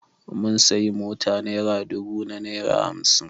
Mun sayi mota naira dubu da naira hamsin